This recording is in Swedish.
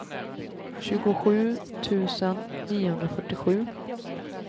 tjugosju tusen niohundrafyrtiosju